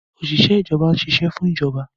Òṣìṣẹ́ ìjọba ń ṣiṣẹ́ fún ìjọba